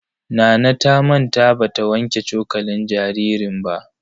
Nana ta manta ba ta wanke cokalin jaririn ba.